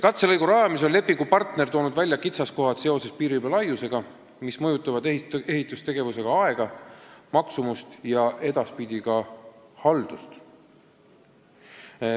Katselõigu rajamisel on lepingupartner toonud välja kitsaskohad seoses piiririba laiusega, mis mõjutavad ehitustegevuse aega, maksumust ja edaspidi ka haldust.